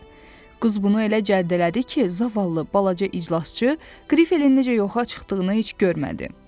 Qız bunu elə cəld elədi ki, zavallı balaca iclasçı, grifelin necə yoxa çıxdığını heç görmədi.